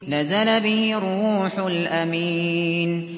نَزَلَ بِهِ الرُّوحُ الْأَمِينُ